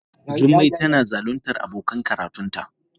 Jummai tana zaluntar abokan karatunta.